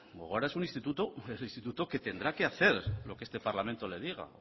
gogora es un instituto que tendrá que hacer lo que este parlamento le diga